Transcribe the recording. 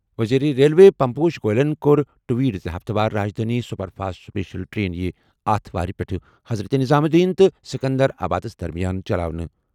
وزیر ریلوے پیوش گوئل یَن کوٚر ٹویٹ زِ ہفتہٕ وار Rajdhani super fast special train یِیہِ اتھٕوارِ پٮ۪ٹھٕ حضرت نظام الدین تہٕ سکندرآبادَس درمیان چلاونہٕ۔